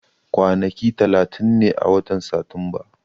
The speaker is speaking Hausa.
Kwanaki talatin ne a watan Satumba.